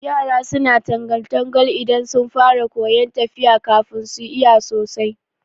Yara suna tangal- tangal idan sun fara koyan tafiya kafin su iya sosai